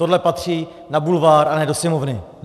Tohle patří na bulvár, a ne do Sněmovny.